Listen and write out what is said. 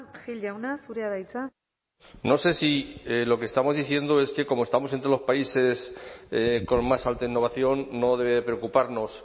gil jauna zurea da hitza no sé si lo que estamos diciendo es que como estamos entre los países con más alta innovación no debe preocuparnos